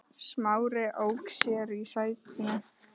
Smári ók sér í sætinu.